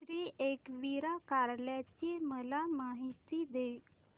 श्री एकविरा कार्ला ची मला माहिती दे